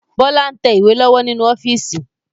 Bọlá ń tẹ ìwé lọ́wọ́ nínú ọ́fíìsì